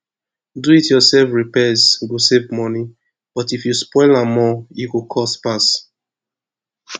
diy repairs go save money but if you spoil am more e go cost pass